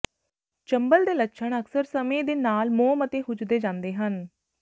ਚੰਬਲ ਦੇ ਲੱਛਣ ਅਕਸਰ ਸਮੇਂ ਦੇ ਨਾਲ ਮੋਮ ਅਤੇ ਹੁੱਜਦੇ ਜਾਂਦੇ ਹਨ